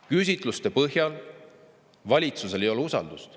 Küsitluste põhjal valitsusel ei ole usaldust.